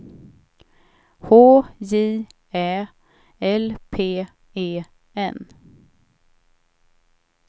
H J Ä L P E N